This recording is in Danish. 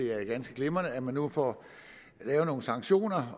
er ganske glimrende at man nu får lavet nogle sanktioner